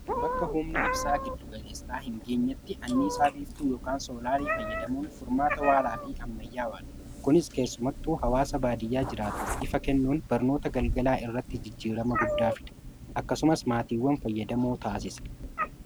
bakka humni ibsaa giddugaleessaa hingeenyatti anniisaa biiftuu yookaan sooraalii fayyadamuun furmaata waaraa fi ammayyaawaadha. kunis keessumattuu hawaasa baadiyyaa jiraatuuf ifa kennuun barnoota galgalaa irratti jijjiirama guddaa fida. akkasumas maatiiwwan fayyadamoo taasisa